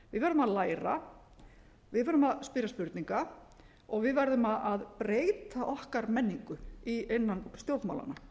verðum að læra við verðum að spyrja spurninga og við verðum að breyta okkar menningu innan stjórnmálanna